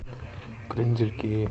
крендельки